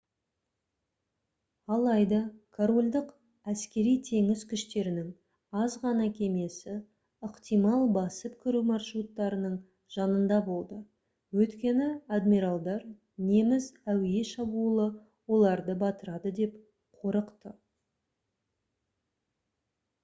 алайда корольдік әскери-теңіз күштерінің аз ғана кемесі ықтимал басып кіру маршруттарының жанында болды өйткені адмиралдар неміс әуе шабуылы оларды батырады деп қорықты